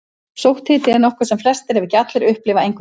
Sótthiti er nokkuð sem flestir, ef ekki allir, upplifa einhvern tíma.